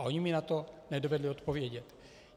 A oni mi na to nedovedli odpovědět.